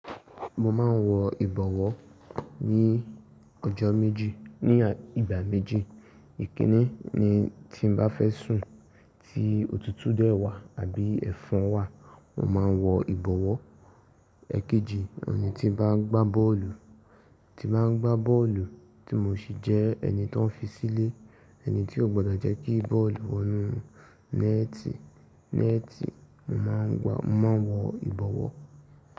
Mo máa ń wọ ìbọwọ́ ní ọjọ́ méjì, ní ìgbà méjì. Ìkini ní tí n bá fẹ́ sùn tí òtútù dẹ́ wà àbí ẹ̀fọn wà, mo máa ń wọ ìbọwọ́. Ikejì, oun ni ti bá ń gbá bọ́ọ̀lù, ti bá ń gbá bọ́ọ̀lù tí mo sì jẹ́ ẹni tan ń fi sílé, ẹni tí ó gbọ́dọ̀ jẹ́ kí bọ́ọ̀lù wọ inú nẹ́ẹ́tì, nẹ́ẹ́tì, mo máa ń gba, mo máa ń wọ ìbọwọ́.